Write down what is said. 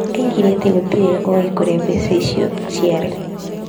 Oigire atĩ gũtirĩ ũĩ kũrĩa mbeca icio ciarĩ.